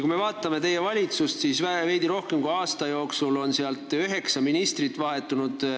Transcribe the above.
Kui me vaatame teie valitsust, siis veidi rohkem kui aasta jooksul on seal vahetunud üheksa ministrit.